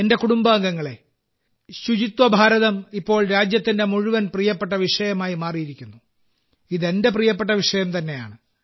എന്റെ കുടുംബാംഗങ്ങളേ ശുചിത്വ ഭാരതം ഇപ്പോൾ രാജ്യത്തിന്റെ മുഴുവൻ പ്രിയപ്പെട്ട വിഷയമായി മാറിയിരിക്കുന്നു ഇത് എന്റെ പ്രിയപ്പെട്ട വിഷയം തന്നെയാണ്